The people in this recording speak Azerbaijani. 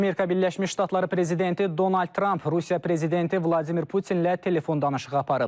Amerika Birləşmiş Ştatları prezidenti Donald Tramp Rusiya prezidenti Vladimir Putinlə telefon danışığı aparıb.